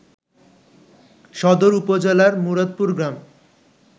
সদর উপজেলার মুরাদপুর গ্রাম